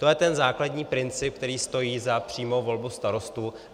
To je ten základní princip, který stojí za přímou volbu starostů.